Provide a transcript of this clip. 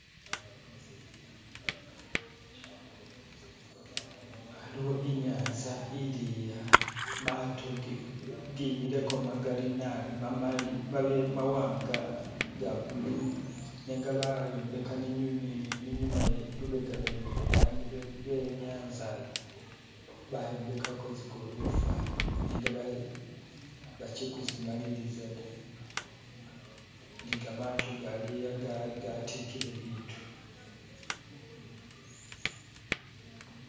Aliwo inyanza ili'a mato gimileko magali naabi, mamali, mawanga, ga bulu nenga bayombeka ni nyuma lubega lwene lwodani lwe nyanza ayi, bayombekako tsigolofa nenga bachi kumaliliza da ni gamato gali'a gatikile bitu.